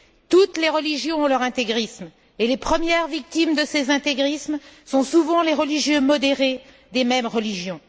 Toutes les religions ont leur intégrisme et les premières victimes de ces intégrismes sont souvent les religieux modérés des mêmes religions.